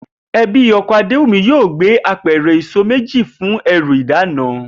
E̩bí o̩ko̩ Adéwùmí yóò gbé apè̩rè̩ èso méjì fún e̩rù ìdána